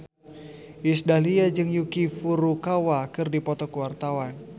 Iis Dahlia jeung Yuki Furukawa keur dipoto ku wartawan